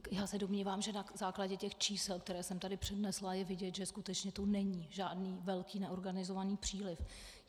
Já se domnívám, že na základě těch čísel, která jsem tady přednesla, je vidět, že skutečně tu není žádný velký neorganizovaný příliv.